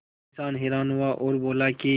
किसान हैरान हुआ और बोला कि